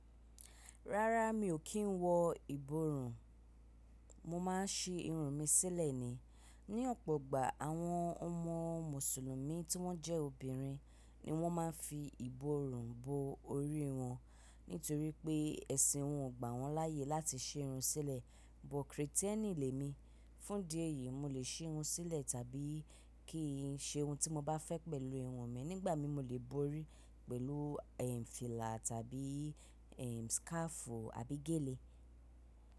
Rárá mi ò kí n wọ ìborùn, mo maá ń si irun mi sílẹ̀ ni. Ni ọ̀pọ̀ ìgbà àwọn ọmọ mùsùlùmí tí wọ́n jẹ́ obìnrin ni wọ́n ma ń fi ìborùn bo orí wọn, nítorí pé ẹ̀sìn wọn ò gbà wọ́n láàyè láti si irun sílẹ̀. But Kristẹni lè mi. Fún idi yìí mo lè si irun sílẹ̀ tàbí kí n se irun tí mo bá fẹ́ pẹ̀lú irun mi, nígbà mi mo lè bo orí pẹ̀lú, eh, fìlà tàbí, eh, scarf àbí gèlè.